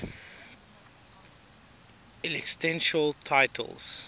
ecclesiastical titles